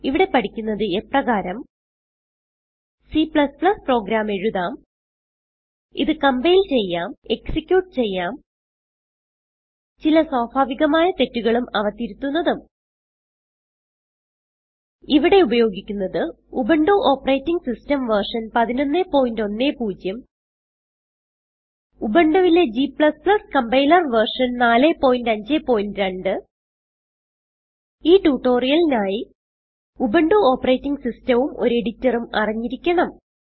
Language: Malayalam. ഇവിടെ പഠിക്കുന്നത് എപ്രകാരം C പ്രോഗ്രാം എഴുതാം ഇത് കംപൈൽ ചെയ്യാം എക്സിക്യൂട്ട് ചെയ്യാം ചില സ്വാഭാവികമായ തെറ്റുകളും അവ തിരുത്തുന്നതും ഇവിടെ ഉപയോഗിക്കുന്നത് ഉബുന്റു ഓപ്പറേറ്റിംഗ് സിസ്റ്റം വെർഷൻ 1110 ഉബുണ്ടുവിലെ G കമ്പൈലർ വെർഷൻ 452 ഈ ട്യൂട്ടോറിയലിനായി ഉബുന്റു ഓപ്പറേറ്റിംഗ് സിസ്റ്റം ഉം ഒരു എഡിറ്ററും അറിഞ്ഞിരിക്കണം